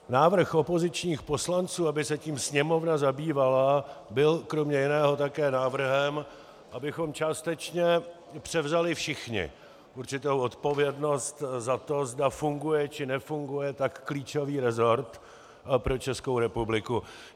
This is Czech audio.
Návrh opozičních poslanců, aby se tím Sněmovna zabývala, byl kromě jiného také návrhem, abychom částečně převzali všichni určitou odpovědnost za to, zda funguje, či nefunguje tak klíčový resort pro Českou republiku.